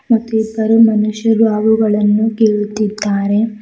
ಮತ್ತು ಇಬ್ಬರು ಮನುಷ್ಯರು ಅವುಗಳನ್ನು ಕೀಳುತ್ತಿದ್ದಾರೆ.